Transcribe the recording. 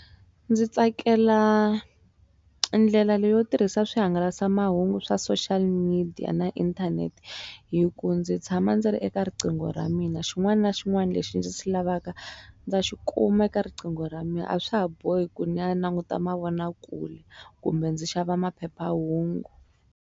Ndzi tsakela ndlela leyo tirhisa swihangalasamahungu swa social media na inthanete hi ku ndzi tshama ndzi ri eka riqingho ra mina xin'wana na xin'wana lexi ndzi xi lavaka ndza xikuma eka riqingho ra mina a swa ha bohi ku ni ya languta mavonakule kumbe ndzi xava maphephahungu.